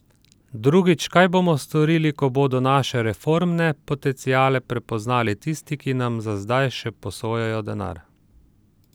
Drugič, kaj bomo storili, ko bodo naše reformne potenciale prepoznali tisti, ki nam za zdaj še posojajo denar?